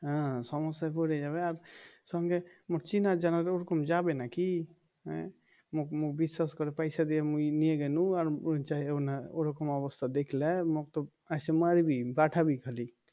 হ্যাঁ সমস্যায় পরে যাবে আর সঙ্গে মোর চেনা জানার ওরকম যাবে নাকি হ্যাঁ মুক বিশ্বাস করে পয়সা দিয়ে মুই নিয়ে যামু আর ওরকম অবস্থা দেখলে আসে মারবি খালি